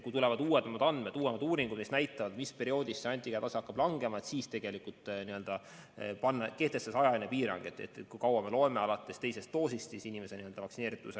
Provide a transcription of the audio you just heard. Kui tulevad uuemad andmed, uuemad uuringud, mis näitavad, millal antikehade tase hakkab langema, siis saab kehtestada ajapiiri, kui kaua alates teisest doosist me peame inimest vaktsineerituks.